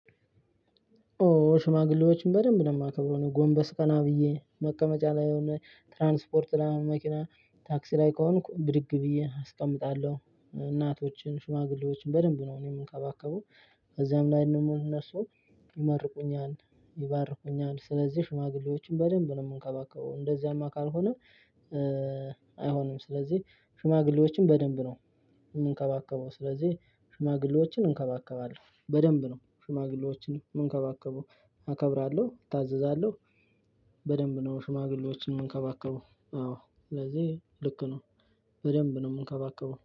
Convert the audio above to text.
ኦ ሽማግሌዎችን በደንብ ነው የማከብረው ጎንበስ ቀና ብዬ መቀመጫ ላይ የሆነ ትራንስፖርት ላይ መኪና ታክሲ ላይ ከሆንኩ ብድግ ብዬ አስቀምጣለሁ። እናቶችን ሽማግሌዎችን በደንብ ነው እኔም የምንከባከበው። ከዚያም ላይ ደግሞ እነሱ ይመርቁኛል ይባርኩኛል። ስለዚህ ሽማግሌዎችን በደንብ ነው የምንከባከበው እንደዚያማ ካልሆነ አይሆንም። ስለዚህ ሽማግሌዎችን በደንብ ነው የምንከባከበው። ስለዚህ ሽማግሌዎችን እንከባከባለሁ በደንብ ነው ሽማግሌዎችን የምንከባከበው አከብራለሁ እታዘዛለሁ። በደንብ ነው ሽማግሌዎችን የምንከባከበው አዎ ስለዚህ ልክ ነው በደንብ ነው የምንከባከበው